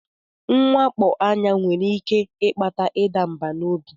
Mwakpo anya nwere ike ịkpata ịda mbà n'obi.